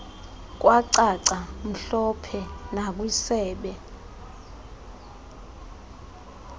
kwacaca mhlophe nakwisebe